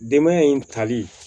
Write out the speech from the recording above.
Denbaya in tali